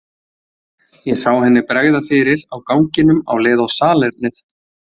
Ég sá henni bregða fyrir á ganginum á leið á salernið.